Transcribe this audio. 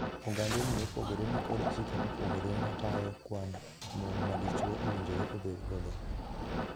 Ogandeni mopogore ni kod chike mopogore ma tayo kwand mon ma dichwo owinjore obedgo.